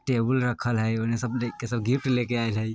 टेबुल रखल हय ओने सब देख के सब गिफ्ट लेके अएल हय।